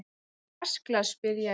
Áttu vatnsglas, spyr ég.